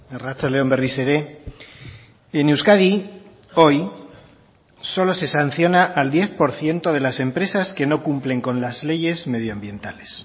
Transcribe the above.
arratsalde on berriz ere en euskadi hoy solo se sanciona al diez por ciento de las empresas que no cumplen con las leyes medioambientales